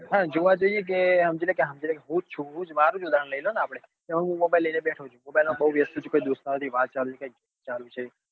હા જોવા જઈએ કે સમજી લે કે સમજી લે હું જ છું મારું જ ઉદાહરણ લઇ લો ને કે આપડે mobile લઇ ને બેઠો છું mobile માં બવ વ્યસ્ત છ. કોઈ દોસ્તારો જોડે વાત ચાલુ છે કઈક ચાલુ છે